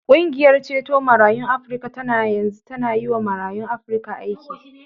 Ƙungiyar ceto marayun Afrika tana yanzu tana yiwa marayun Afrika aiki.